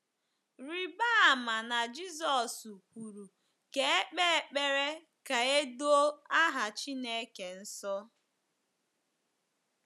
Rịba ama na Jizọs kwuru ka e kpee ekpere ka e doo aha Chineke nsọ.